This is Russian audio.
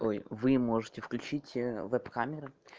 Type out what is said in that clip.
ой вы можете включить веб-камеры